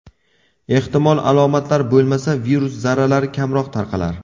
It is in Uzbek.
Ehtimol, alomatlar bo‘lmasa, virus zarralari kamroq tarqalar?